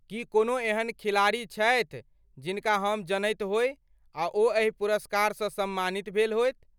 की कोनो एहन खिलाड़ी छथि जिनका हम जनैत होइ आ ओ एहि पुरस्कारसँ सम्मानित भेल होथि?